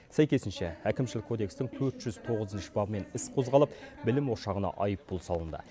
сәйкесінше әкімшілік кодекстің төрт жүз тоғызыншы бабымен іс қозғалып білім ошағына айыппұл салынды